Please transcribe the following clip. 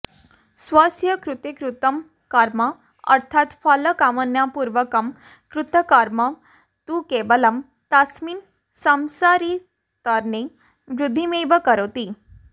स्वस्य कृते कृतं कर्म अर्थात् फलकामनापूर्वकं कृतं कर्म तु केवलं तस्मिन् सांसारितर्णे वृद्धिमेव करोति